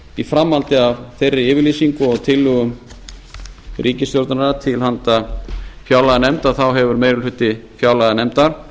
í framhaldi af þeirri yfirlýsingu og tillögum ríkisstjórnarinnar til handa fjárlaganefnd þá hefur meiri hluti fjárlaganefndar